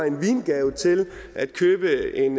en vingave til at købe en